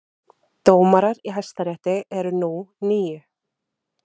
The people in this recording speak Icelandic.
Dómarar í Hæstarétti eru nú níu